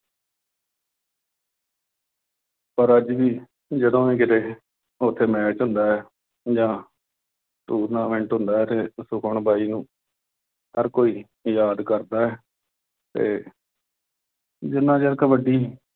ਪਰ ਅੱਜ ਵੀ ਜਦੋਂ ਵੀ ਕਿਤੇ ਉਥੇ match ਹੁੰਦਾ ਜਾਂ tournament ਹੁੰਦਾ ਤੇ ਸੁਖਮਨ ਬਾਈ ਨੂੰ ਹਰ ਕੋਈ, ਯਾਦ ਕਰਦਾ ਤੇ ਜਿੰਨਾ ਚਿਰ ਕਬੱਡੀ